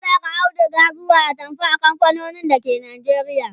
ana Saka auduga zuwa atamfa a kamfanonin dake Najeriya